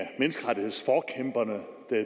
menneskerettighedsforkæmperne